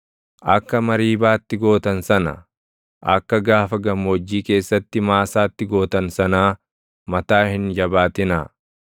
akka Mariibaatti gootan sana, akka gaafa gammoojjii keessatti Maasaatti gootan sanaa // mataa hin jabaatinaa;